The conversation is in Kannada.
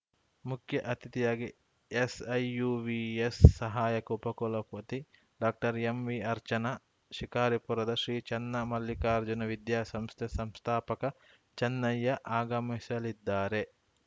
ಮುಖ್ಯ ಅತಿಥಿಯಾಗಿ ಎಸ್‌ಐಯುವಿಎಸ್‌ ಸಹಾಯಕ ಉಪಕುಲಪತಿ ಡಾಕ್ಟರ್ಎಂವಿಅರ್ಚನಾ ಶಿಕಾರಿಪುರದ ಶ್ರೀ ಚನ್ನಮಲ್ಲಿಕಾರ್ಜುನ ವಿದ್ಯಾ ಸಂಸ್ಥೆ ಸಂಸ್ಥಾಪಕ ಚನ್ನಯ್ಯ ಆಗಮಿಸಲಿದ್ದಾರೆ